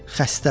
Xəstə.